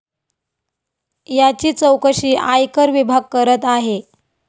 याची चौकशी आयकर विभाग करत आहे.